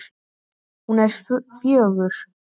Hún er fjögur.